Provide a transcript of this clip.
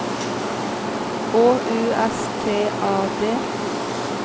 H U S T A D